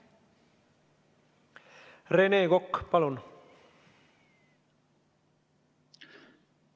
Rene Kokk, palun!